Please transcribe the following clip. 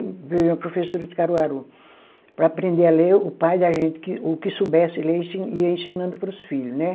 Veio uma professora de Caruaru, para aprender a ler, o pai da gente que, o que soubesse ler, ensi ia ensinando para os filhos, né?